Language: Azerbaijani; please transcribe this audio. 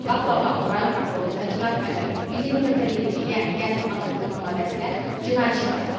Faktla bağlı rayon prokurorluğunda Cinayət Məcəlləsinin 120.1-ci, yəni qəsdən adam öldürmə maddəsi ilə cinayət işi başlanıb.